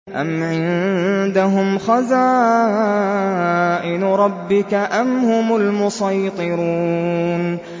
أَمْ عِندَهُمْ خَزَائِنُ رَبِّكَ أَمْ هُمُ الْمُصَيْطِرُونَ